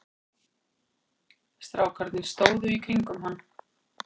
Strákarnir stóðu í kringum hann.